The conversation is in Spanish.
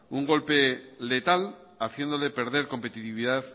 un golpe letal haciéndole perder competitividad